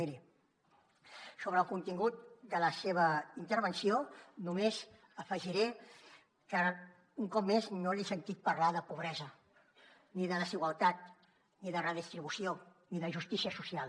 miri sobre el contingut de la seva intervenció només afegiré que un cop més no l’he sentit parlar de pobresa ni de desigualtat ni de redistribució ni de justícia social